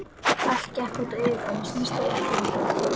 Allt gekk út á yfirborðið, snyrtilegt yfirborðið.